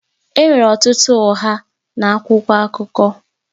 Enwere ọtụtụ ụgha na akwụkwọ akụkọ